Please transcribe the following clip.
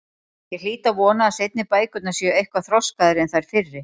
Ég hlýt að vona að seinni bækurnar séu eitthvað þroskaðri en þær fyrri.